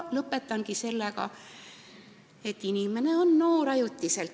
Lõpetan selle mõttega, et inimene on noor ajutiselt.